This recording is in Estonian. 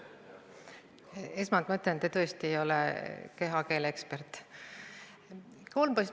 Esmalt ma ütlen, et te tõesti ei ole kehakeele ekspert.